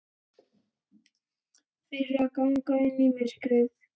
Fyrir að ganga inn í myrkrið.